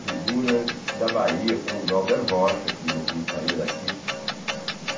Figuras da Bahia, como Glauber Rocha, que não saía daqui.